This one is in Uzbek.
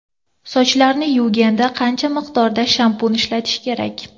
Sochlarni yuvganda qancha miqdorda shampun ishlatish kerak?